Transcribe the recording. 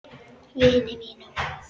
Vini mínum!